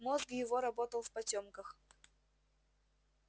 мозг его работал в потёмках